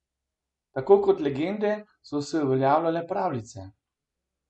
Tako kot legende so se uveljavljale pravljice.